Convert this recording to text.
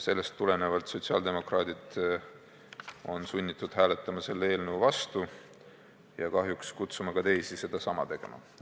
Sellest tulenevalt on sotsiaaldemokraadid sunnitud hääletama selle eelnõu vastu ja kahjuks kutsume üles ka teisi sedasama tegema.